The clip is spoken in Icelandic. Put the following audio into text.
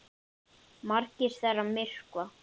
Margar þeirra myrkva.